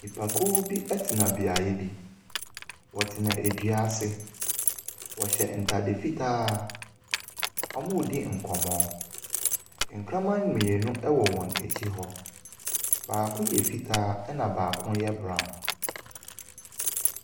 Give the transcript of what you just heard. Nnipakuo bo tena beaeɛ bi. Wɔtena dua ase. Wɔhyɛ ntade fitaa. Wɔredi nkɔmmɔ. Nkraman mmienu wɔ wɔn akyi hɔ. Baako yɛ fitaa, ɛnna baako yɛ brown.